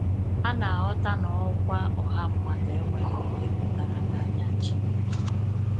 Ha na-aghọta na ọkwa ọha mmadụ enweghị ihe pụtara n’anya Chineke.